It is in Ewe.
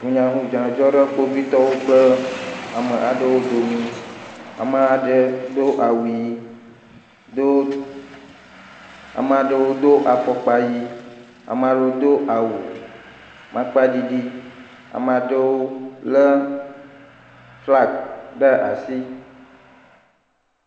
Hunyanunya dzɔ ɖe kpɔvitɔ aɖewo domi. Ame aɖe do awu ɣi, ame aɖe do afɔkpa ɣi, ame aɖewo do awu makpa ɖiɖi. Ame aɖewo le flaga ɖe asi